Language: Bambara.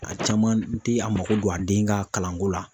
A caman tɛ a mako don a den ka kalanko la.